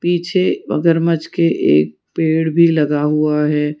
पीछे मगरमच्छ के एक पेड़ भी लगा हुआ है।